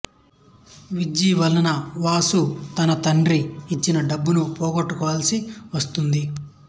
విజ్జి వలన వాసు తన తండ్రి ఇచ్చిన డబ్బును పోగొట్టుకోవాల్సి వస్తుంది